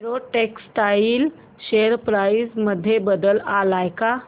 Arrow Textiles share price मध्ये बदल आलाय का